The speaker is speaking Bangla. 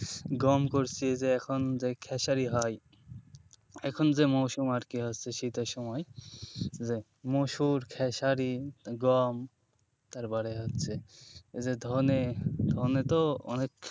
গম করছি যে এখন যে খেসারী হয় এখন যে মরশুম আরকি হচ্ছে শীতের সময় মসুর, খেসারী, গম তারপরে হচ্ছে এই যে ধনে ধনে তো অনেক,